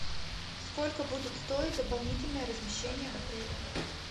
сколько будет стоить дополнительное размещение в отеле